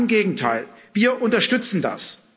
Ganz im Gegenteil Wir unterstützen das.